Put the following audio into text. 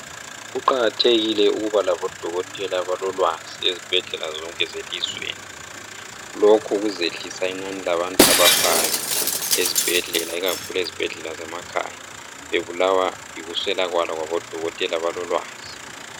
kuqakathekile ukuba labo dokotela abaolwazi ezibhedlela zonke zelizweni lokhu kuzehlisa inani labantu abafayo ezibhedlela ikakhulu ezibhedlela zamakhaya bebulawa yikuswelakala kwabo dokotela abalolwazi